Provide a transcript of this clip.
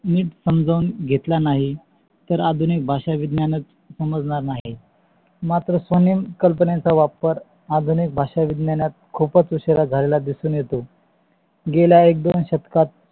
निठ समजू घेतला नाही तर आधुनिक भाषा विज्ञानच समजणार नाही. मात्र कल्पनेचा वापर आधुनिक भाषा विज्ञान खूपच उशिरा झालेला दिसून येतो. गेल्य एक दोन शतकात